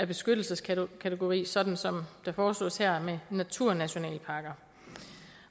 beskyttelseskategori sådan som det foreslås her med naturnationalparker